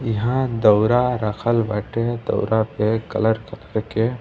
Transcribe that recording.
इहाँ दौरा रखल बाटे दौरा पे कलर के।